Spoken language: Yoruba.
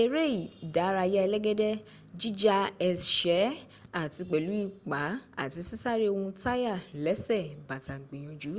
eré́ ìdárayà ẹlẹ́gẹ́dẹ́ jíja ẹ̀sẹ́ àti pẹ̀lú ìpá àti sisare ohun táyà lẹ́sẹ̀ bàtà gbìyànjú